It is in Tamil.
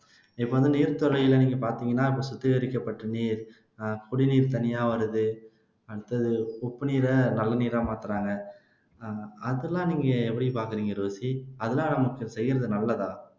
இப்ப வந்து நீர்த்துறையில நீங்க பாத்தீங்கன்னா இப்போ சுத்திகரிக்கப்பட்ட நீர் அஹ் குடிநீர் தனியா வருது அடுத்தது உப்பு நீரை நல்ல நீரா மாத்துறாங்க அஹ் அதெல்லாம் நீங்க எப்படி பாக்குறீங்க ரோஸ்லி